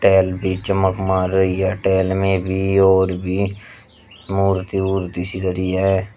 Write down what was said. Tail पे चमक मार रही है टैल में भी और भी मूर्ति ऊर्ती सी धरी है।